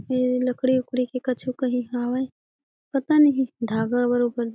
ये लकड़ी उकड़ी की कुछो कही हावय पता नहीं धागा बरोबर।